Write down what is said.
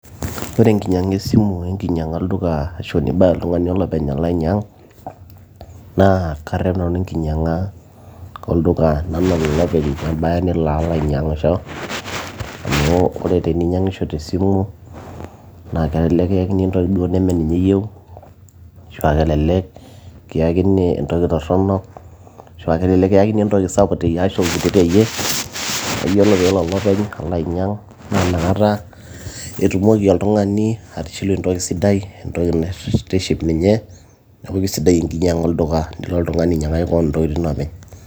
ore enkinyiang'a esimu enkinyiang'a olduka ashu nibaya oltung'ani olopeny alo ainyiang naa karrep nanu enkinyiang'a olduka ena nalo oltung'ani openy abaya nelo alo ainyiang'isho amu ore teninyiang'isho tesimu naa kelelek kiyakini entoki duo neme ninye iyieu ashua kelelek kiyakini entoki torronok ashua kelelek kiyakini entoki sapuk teyie ashu kiti teyie neeyiolo peelo olopeny alo ainyiang naa inakata etumoki oltung'ani atishilu entoki sidai entoki naitiship ninye neeku kisidai enkinyiang'a olduka nilo oltung'ani ainyiang'aki koon intokitin openy.